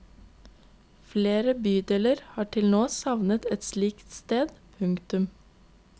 Flere bydeler har til nå savnet et slikt sted. punktum